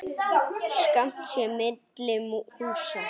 Skammt sé milli húsa.